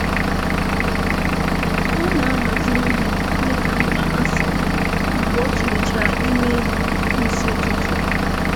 Ọ na-ahazị ihe dịka mkpa ha si dị mgbe o tụlechara imeelụ n'isi ụtụtụ.